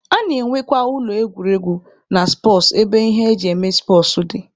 A na-enwekwa ụlọ egwuregwu na spọtsụ ebe ihe eji eme spọtsụ dị.